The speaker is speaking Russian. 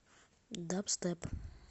дабстеп